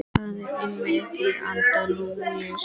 Það er einmitt í anda Lúsíu.